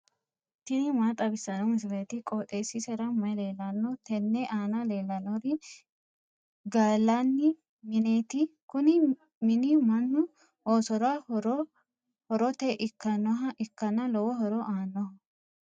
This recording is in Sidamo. tini maa xawissanno misileeti? qooxeessisera may leellanno? tenne aana leellannori gallanni mineeti. kuni mini mannu oosora horote ikkannoha ikkanna lowo horo aannoho.